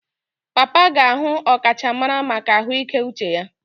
Papa ga-ahụ ọkachamara maka ahụike uche ya.